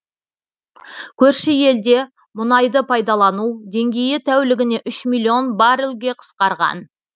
көрші елде мұнайды пайдалану деңгейі тәулігіне үш миллион баррелге қысқарған